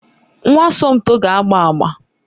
Nwa Somto ga-agba agba.